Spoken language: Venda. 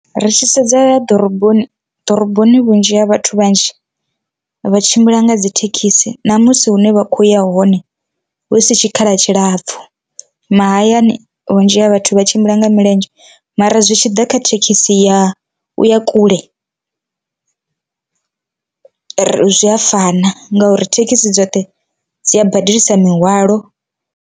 Ri tshi sedza ḓoroboni, ḓoroboni vhunzhi ha vhathu vhanzhi vha tshimbila nga dzi thekhisi ṋamusi hune vha khoya hone hu si tshikhala tshilapfu, mahayani vhunzhi ha vhathu vha a tshimbila nga milenzhe mara zwi tshi ḓa kha thekhisi ya u ya kule ri zwi a fana ngauri thekhisi dzoṱhe dzi a badelisa mihwalo.